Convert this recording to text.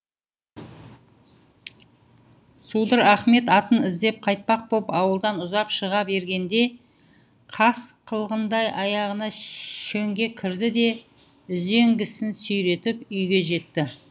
судыр ахмет атын іздеп қайтпақ боп ауылдан ұзап шыға бергенде қас қылғандай аяғына шөңге кірді де үзеңгісін сүйретіп үйге жетті